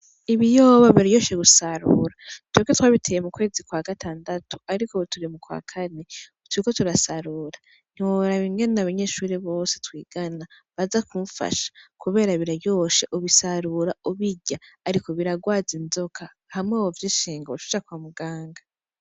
Ibiyoba biraryoshe gusarura twebwe twabiteye mu kwezi kw'agatandatu, ariko ubu turi mu kwa kane turiko turasarura ntiworaba ingene abanyeshuri bose twigana baza kumfasha, kubera biraryoshe ubisarura ubirya, ariko biragwaza inzoka hamwe wo vyishenga woca uja kwa muganga.